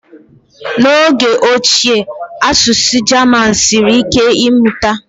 n'oge ochie asụsụ German siri ike ịmụta